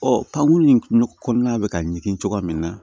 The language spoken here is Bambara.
Ɔ pankuru in kɔnɔna bɛ ka ɲigin cogoya min na